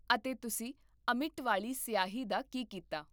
ਅਤੇ ਤੁਸੀਂ ਅਮਿੱਟ ਵਾਲੀ ਸਿਆਹੀ ਦਾ ਕੀ ਕੀਤਾ?